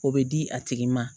O bɛ di a tigi ma